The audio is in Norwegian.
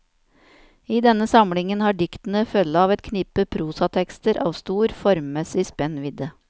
I denne samlingen har diktene følge av et knippe prosatekster av stor formmessig spennvidde.